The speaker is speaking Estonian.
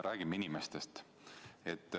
Räägime inimestest!